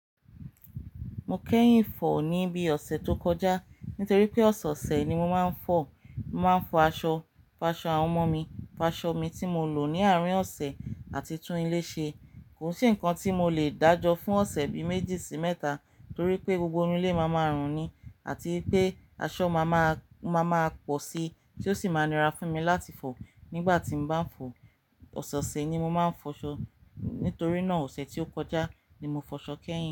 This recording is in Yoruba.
Mo kẹ́yìn fọ̀ ní bí ọ̀sẹ̀ tó kọjá nítorí pé ọ̀sẹ̀ ọ̀sẹ̀ ni mo máa ń fọ̀. Mo máa ń fọ aṣọ, fa aṣọ àwọn ọmọ mi, fa aṣọ mi tí mo lò ní àárín ọ̀sẹ̀ àti tún ilé ṣe. Kò sí ǹkan tí mo le dàjọ́ fún ọ̀sẹ̀ bi méjì sí mẹ́ta torí pé gbogbo inú ilé máa máa rùn ní àti pé aṣọ máa máa, máa máa pọ̀ sí tí ó sì máa nira fún mi láti fọ̀ nígbà tí mo bá ń fọ̀. Ọ̀sẹ̀ ọ̀sẹ̀ ni mo máa ń fọ aṣọ nítorí náà ọ̀sẹ̀ tí ó kọjá ni mo fọ aṣọ kẹ́yìn.